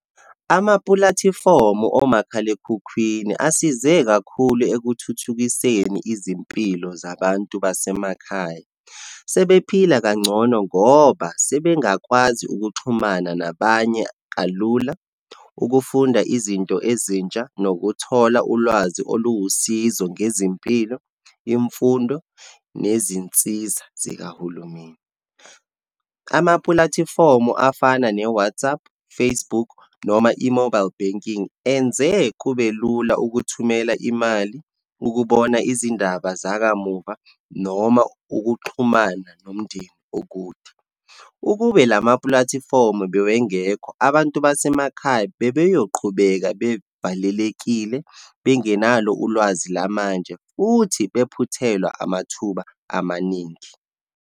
Amapulatifomu omakhalekhukhwini asize kakhulu ekuthuthukiseni izimpilo zabantu basemakhaya. Sebephila kangcono ngoba sebengakwazi ukuxhumana nabanye kalula, ukufunda izinto ezintsha, nokuthola ulwazi oluwusizo ngezimpilo, imfundo, nezinsiza zikahulumeni. Amapulatifomu afana ne-WhatsApp, Facebook, noma i-mobile banking enze kube lula ukuthumela imali, ukubona izindaba zakamuva, noma ukuxhumana nomndeni okude. Ukube lamapulatifomu bewengekho, abantu basemakhaya bebeyoqhubeka bevalelekile, bengenalo ulwazi lamanje futhi bephuthelwa amathuba amaningi.